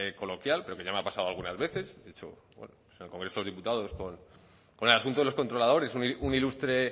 coloquial pero que ya me ha pasado algunas veces bueno pues en el congreso de los diputados con el asunto de los controladores un ilustre